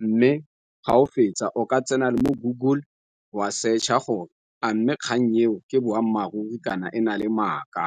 Mme ga o fetsa o ka tsena mo Google wa search-a gore a mme kgannyeng eo ke boammaaruri kana e na le maaka.